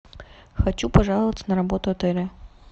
хочу пожаловаться на работу отеля